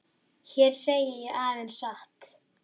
Hér segi ég aðeins satt.